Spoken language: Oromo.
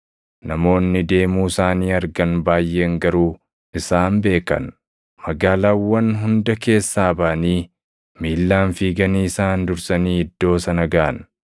Namoonni deemuu isaanii argan baayʼeen garuu isaan beekan; magaalaawwan hunda keessaa baʼanii miillaan fiiganii isaan dursanii iddoo sana gaʼan.